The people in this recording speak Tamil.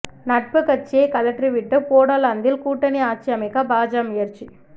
நட்பு கட்சியை கழற்றி விட்டு போடோலாந்தில் கூட்டணி ஆட்சியமைக்க பாஜ முயற்சி